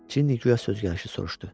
Cinni guya sözgəlişi soruşdu.